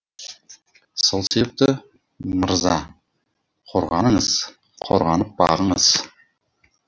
сол себепті мырза қорғаныңыз қорғанып бағыңыз